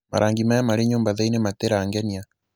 marangi maya marĩ nyũmba thĩini matira ngenia